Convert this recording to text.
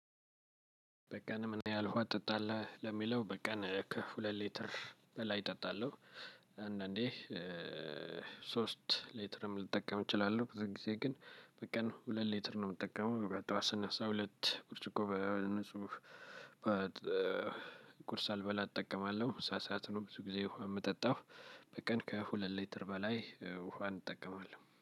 በቀን? ምን ያህል ውሃ ትጠጣለህ ለሚለው በቀን ከሁለት ሊተር በላይ እጠጣለሁ አንዳንዴ ሶስት ሌትርም ልጠቀም እችላለሁ ብዙ ጊዜ ግን በቀን ሁለት ሌትር ነው የምጠቀመው። በጠዋት ስነሳ ሁለት ብርጭቆ በንጹህ በቁርስ ሳልበላ እጠቀማለሁ ምሳ ስዓት ነው ብዙ ጊዜ ውሃ የምጠጣው። በቀን ከሁለት ሊትር በላይ ውሃ እጠቀማለው